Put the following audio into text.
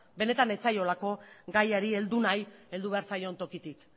benetan ez zaiolako gaiari heldu nahi heldu behar zaion tokitik